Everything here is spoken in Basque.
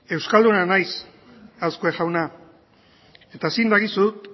euskalduna naiz azkue jauna eta zin dagizut